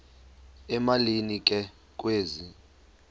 emalini ke kwezi